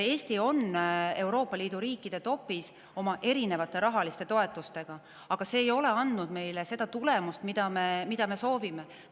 Eesti on Euroopa Liidu riikide tipus oma erinevate rahaliste toetustega, aga need ei ole andnud meile tulemust, mida me soovime.